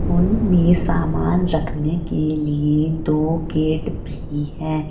उन में सामान रखने के लिए दो गेट भी हैं।